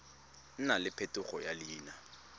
nna le phetogo ya leina